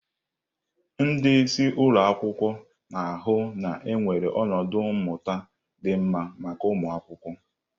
Ndị isi ụlọ akwụkwọ na-ahụ na enwere ọnọdụ mmụta dị mma maka ụmụ akwụkwọ.